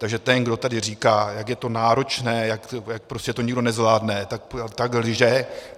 Takže ten, kdo tady říká, jak je to náročné, jak prostě to nikdo nezvládne, tak lže.